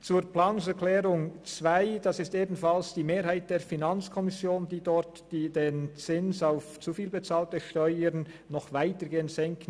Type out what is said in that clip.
Die Planungserklärung 2 der FiKo-Mehrheit möchte den Zins auf zu viel bezahlte Steuern noch weitergehend senken.